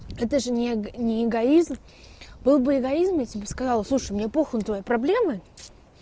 это же не эгоизм был бы эгоизм я тебе сказала слушай мне по хуй на твои проблемы